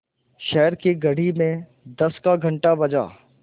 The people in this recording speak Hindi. शहर की घड़ी में दस का घण्टा बजा